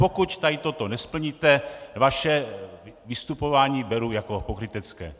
Pokud tady to nesplníte, vaše vystupování beru jako pokrytecké.